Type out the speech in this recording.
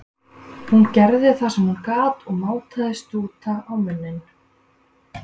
Hún gerði það sem hún gat og mátaði stúta á munninn.